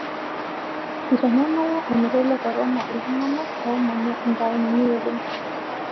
Eitanyamala olmeitai le korona iltungana oomanya intaonini oleng.